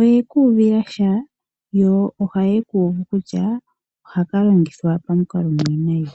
oye ka uvila sha yo ohaye kuuvu kutya ohaka longithwa pamukalo omwiinayi.